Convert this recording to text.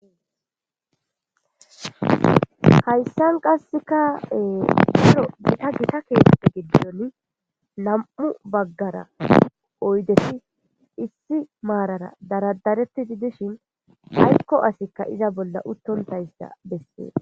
hayssan qasseka daro gita gita keeththa giddon nam'u baggara oydesi issi maarara daradarettii dishin aykko asikka iza bolla uttontayssa bessees